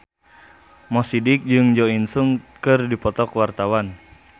Mo Sidik jeung Jo In Sung keur dipoto ku wartawan